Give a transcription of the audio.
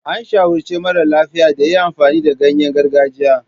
An shawarci mara lafiya da ya yi amfani da ganyen gargajiya.